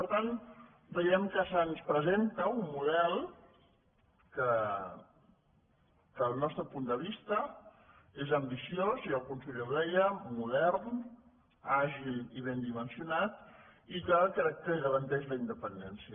per tant veiem que se’ns presenta un model que des del nostre punt de vista és ambiciós i el conseller ho deia modern àgil i ben dimensionat i que crec que garan·teix la independència